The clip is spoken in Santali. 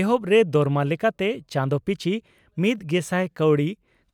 ᱮᱦᱚᱵ ᱨᱮ ᱫᱚᱨᱢᱟ ᱞᱮᱠᱟᱛᱮ ᱪᱟᱸᱫᱚ ᱯᱤᱪᱷᱤ ᱢᱤᱛᱜᱮᱥᱟᱭ ᱠᱟᱣᱰᱤ